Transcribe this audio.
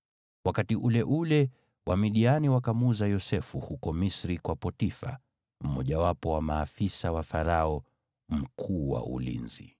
Wakati ule ule, Wamidiani wakamuuza Yosefu huko Misri kwa Potifa, mmojawapo wa maafisa wa Farao, aliyekuwa mkuu wa ulinzi.